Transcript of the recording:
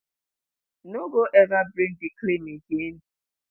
no go ever bring di claim again.